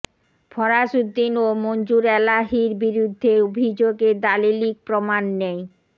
ফরাসউদ্দিন ও মঞ্জুর এলাহীর বিরুদ্ধে অভিযোগের দালিলিক প্রমাণ নেই